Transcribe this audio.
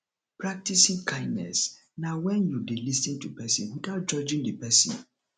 practicing kindness na when you de lis ten to persin without judging di persin